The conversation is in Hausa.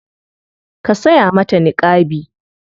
Ka saya mata niƙabi.